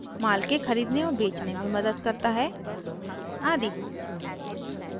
माल के खरीदने और बेचने में मदद करता है आदि